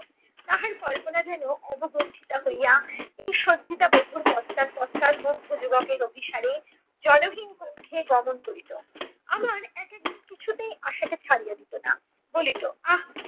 তাহার কল্পনা যেন অবগুণ্ঠিতা হইয়া এই সজ্জিতা বধূর অভিসারে জনহীন কক্ষে গমণ করিত। আবার এক এক দিন কিছুতেই আশাকে ছাড়িয়া দিতো না, বলিত, আহ!